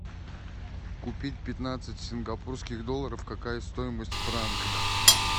купить пятнадцать сингапурских долларов какая стоимость в франках